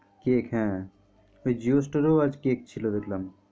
Cake হ্যাঁ ওই JIO store এও আজ cake ছিল দেখলাম।